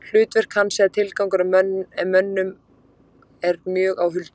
Hlutverk hans eða tilgangur í mönnum er mjög á huldu.